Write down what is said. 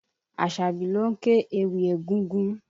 Asabi ló ń ké íwì egúngún.